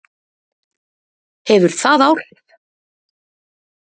Hefur það áhrif?